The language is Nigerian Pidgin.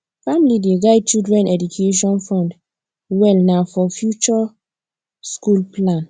family dey guide children education fund well na for future school plan